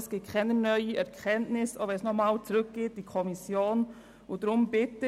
Es gibt keine neuen Erkenntnisse, selbst wenn es zu einer Rückweisung an die Kommission kommen sollte.